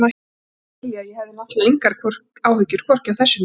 Ekki svo að skilja- ég hafði náttúrlega engar áhyggjur hvorki af þessu né öðru.